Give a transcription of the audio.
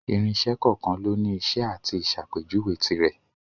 Irinṣẹ́ kọ̀ọ̀kan lóni iṣẹ́ àti ìsàpéjuwe tirẹ̀.